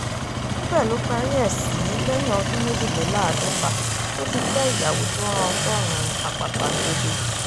níbẹ̀ ló parí ẹ̀ sí lẹ́yìn ọdún méjìléláàádọ́ta tó ti fẹ́ ìyàwó tó rán an sọ́rùn àpàpàǹdodo